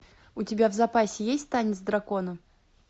у тебя в запасе есть танец дракона